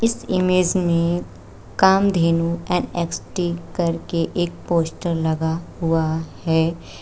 इस इमेज में कामधेनु एन_एक्स_टी करके एक पोस्टर लगा हुआ है।